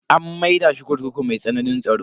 An maida shi kurkuku mai tsananin tsaro.